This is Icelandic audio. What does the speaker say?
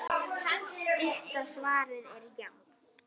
Stutta svarið er já!